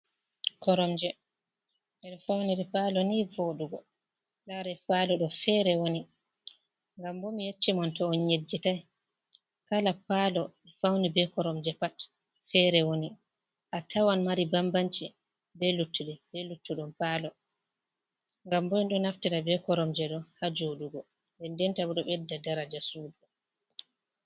Koromje ɓeɗo faunir palo ni vodugo lare palo do fere woni ngam bo mi yecci mon to on yejjitai kala palo ɓe fauni be koromje pat fere woni, a tawan mari bambanci be luttude be luttuɗum palo ngam ɓeɗo naftita be koromje ɗo ha jodugo, den dentabo ɗo bedda daraja sudu.